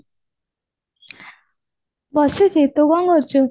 ବସିଚି ତୁ କଣ କରୁଚୁ